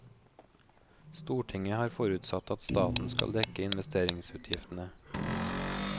Stortinget har forutsatt at staten skal dekke investeringsutgiftene.